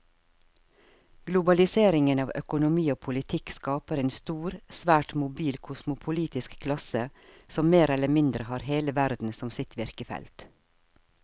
Globaliseringen av økonomi og politikk skaper en stor, svært mobil kosmopolitisk klasse som mer eller mindre har hele verden som sitt virkefelt.